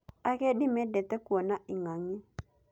Agendi mendete kuona ing'ang'i.